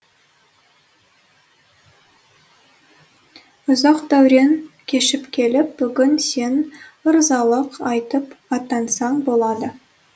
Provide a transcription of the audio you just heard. ұзақ дәурен кешіп келіп бүгін сен ырзалық айтып аттансаң болады